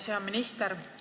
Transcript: Hea minister!